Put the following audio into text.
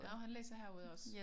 Nå han læser herude også?